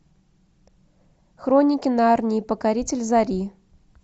хроники нарнии покоритель зари